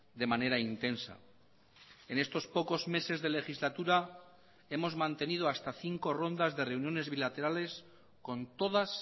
de manera intensa en estos pocos meses de legislatura hemos mantenido hasta cinco rondas de reuniones bilaterales con todas